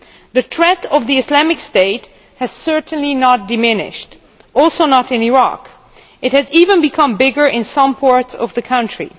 The threat of Islamic State has certainly not diminished, also in Iraq, where it has even become bigger in some parts of the country.